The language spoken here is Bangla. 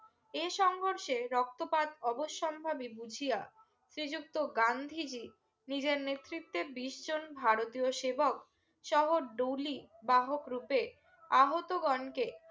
এর সংঘর্ষে রক্তপাত অবসম্ভাবি বুঝিয়া শ্রী যুক্ত গান্ধী জ্বি নিজের নেতৃতে বিশ জন ভারতীয় সেবক শহর দৌলি বাহক রুপে আহত গনকে